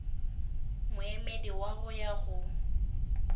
moemedi wa go ya go